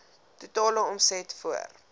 totale omset voor